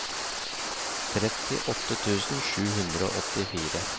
trettiåtte tusen sju hundre og åttifire